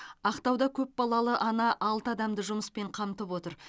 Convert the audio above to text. ақтауда көпбалалы ана алты адамды жұмыспен қамтып отыр